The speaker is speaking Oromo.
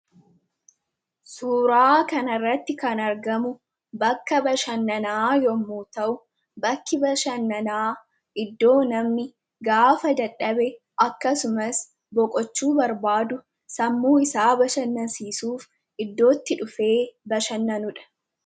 Suuraa kana irratti kan argamu bakka bashannanaa yommu ta'u bakki bashannanaa iddoo namni gaafa dadhabe akkasumas boqochuu barbaadu sammuu isaa bashannansiisuuf iddoo itti dhufe bashannanuudha.